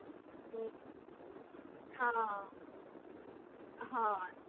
હમ્મ હા હા